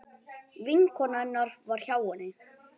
Vinkona hennar var hjá henni.